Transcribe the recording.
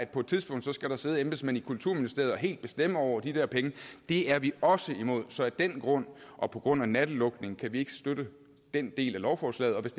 på et tidspunkt skal sidde embedsmænd i kulturministeriet og helt bestemme over de der penge det er vi også imod så af den grund og på grund af natlukningen kan vi ikke støtte den del af lovforslaget og hvis